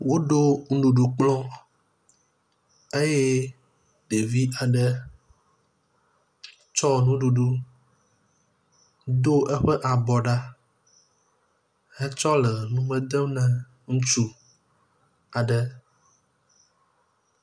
Woɖo nuɖuɖu kplɔ eye ɖevi aɖe tsɔ nuɖuɖu, do eƒe abɔ ɖa hetsɔ le nume dem ne ŋutsu aɖe.